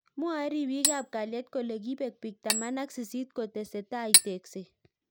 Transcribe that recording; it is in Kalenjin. Mwae ribik ab kalyet kole kibek bik taman ak sisit kotesetai tekset.